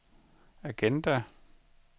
agenda